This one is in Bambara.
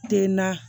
Den na